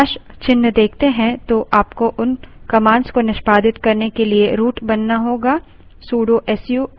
यदि आप terminal पर # हैशचिन्ह देखते हैं तो आपको उन commands को निष्पादित करने के लिए root बनाना होगा